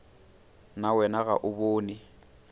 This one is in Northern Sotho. na wena ga o bone